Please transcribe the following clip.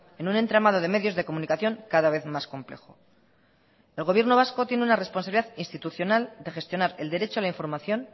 en un entramado de medios de comunicación cada vez más complejo el gobierno vasco tiene una responsabilidad institucional de gestionar el derecho a la información